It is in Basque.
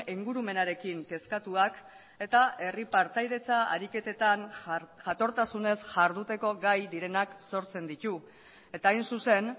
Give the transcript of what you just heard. ingurumenarekin kezkatuak eta herri partaidetza ariketetan jatortasunez jarduteko gai direnak sortzen ditu eta hain zuzen